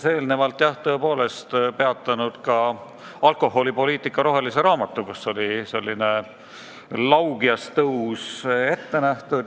Veidi peatus ta ka alkoholipoliitika rohelisel raamatul, kus oli ette nähtud laugjas tõus.